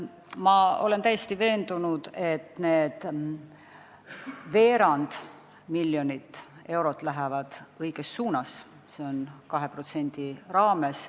Ma olen täiesti veendunud, et see veerand miljonit eurot läheb sellest 2%-st õiges suunas.